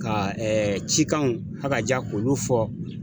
Ka cikanw akaja k'olu fɔ.